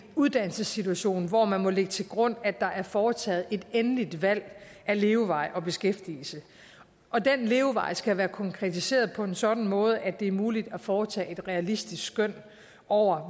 uddannelsessituation hvor man må lægge til grund at der er foretaget et endeligt valg af levevej og beskæftigelse og den levevej skal være konkretiseret på en sådan måde at det er muligt at foretage et realistisk skøn over